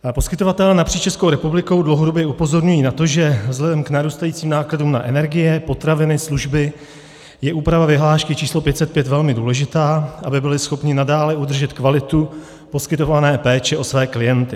Poskytovatelé napříč Českou republikou dlouhodobě upozorňují na to, že vzhledem k narůstajícím nákladům na energie, potraviny, služby je úprava vyhlášky číslo 505 velmi důležitá, aby byli schopni nadále udržet kvalitu poskytované péče o své klienty.